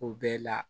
O bɛɛ la